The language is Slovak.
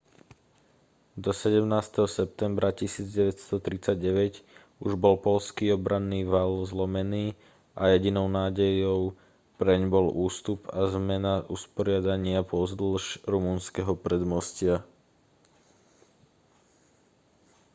do 17. septembra 1939 už bol poľský obranný val zlomený a jedinou nádejou preň bol ústup a zmena usporiadania pozdĺž rumunského predmostia